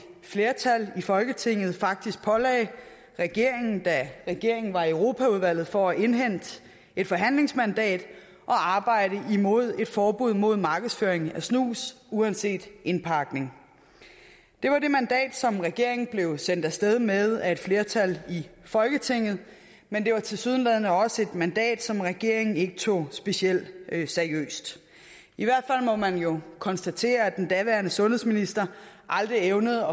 flertal i folketinget faktisk pålagde regeringen da regeringen var i europaudvalget for at indhente et forhandlingsmandat at arbejde imod et forbud mod markedsføring af snus uanset indpakning det var det mandat som regeringen blev sendt af sted med af et flertal i folketinget men det var tilsyneladende også et mandat som regeringen ikke tog specielt seriøst i hvert fald må man jo konstatere at den daværende sundhedsminister aldrig evnede